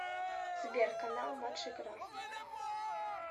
сбер канал матч игра